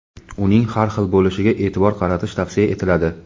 uning har xil bo‘lishiga e’tibor qaratish tavsiya etiladi.